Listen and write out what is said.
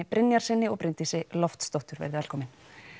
Brynjarssyni og Bryndísi Loftsdóttur verið velkomin